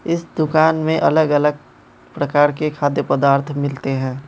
इस दुकान में अलग अलग प्रकार के खाद्य पदार्थ मिलते हैं।